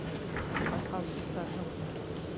басқа ұсыныстар жоқ қой